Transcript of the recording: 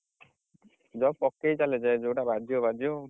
Job ପକେଇଚାଲ ଯେ ଯଉଟା ବାଯିବ ବାଯିବ ଆଉ।